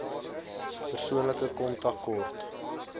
persoonlike kontak kort